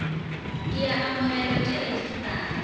ke ya amogelwa ke rejistrara